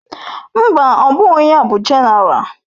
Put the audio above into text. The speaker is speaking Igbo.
Mba, ọ bụghị ya bụ Jenéral.